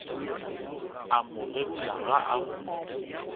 a mo gerula ga a